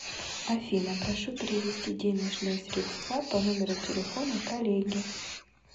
афина прошу перевести денежные средства по номеру телефона коллеге